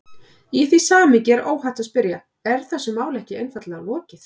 Í því samhengi er óhætt að spyrja: Er þessu máli ekki einfaldlega lokið?